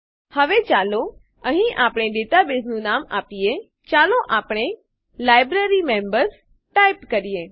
હવે ચાલો અહીં આપણે ડેટાબેઝનું નામ આપીએચાલો આપણે લાઇબ્રેરીમેમ્બર્સ ટાઈપ કરીએ